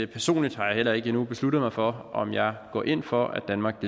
personligt har jeg heller ikke endnu besluttet mig for om jeg går ind for at danmark